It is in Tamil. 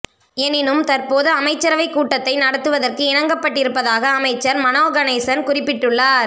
எனினும் தற்போது அமைச்சரவைக் கூட்டத்தை நடத்துவதற்கு இணங்கப்பட்டிருப்பதாக அமைச்சர் மனோகணேசன் குறிப்பிட்டுள்ளார்